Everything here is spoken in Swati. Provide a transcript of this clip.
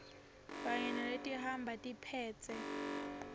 kanye naletihamba tiphetse